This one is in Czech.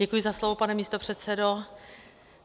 Děkuji za slovo, pane místopředsedo.